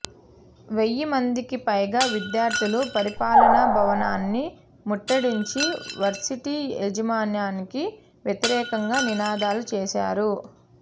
వెయ్యి మందికి పైగా విద్యార్థులు పరిపాలన భవనాన్ని ముట్టడించి వర్సిటీ యాజమాన్యానికి వ్యతిరేకంగా నినాదాలు చేశారు